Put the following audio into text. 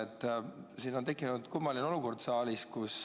Nüüd on tekkinud saalis kummaline olukord.